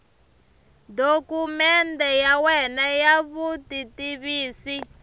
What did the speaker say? dokumende ya wena ya vutitivisi